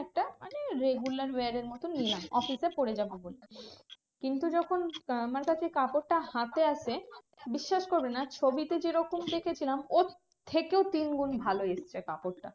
Regular wear এর মতন নিলাম অফিসে পরে যাবো বলে। কিন্তু যখন আমারকাছে কাপড়টা হাতে আসে বিশ্বাস করবি না ছবিতে যেরকম দেখেছিলাম ওর থেকেও তিনগুন ভালো এসেছে কাপড়টা।